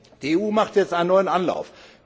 Die EU macht jetzt einen neuen Anlauf.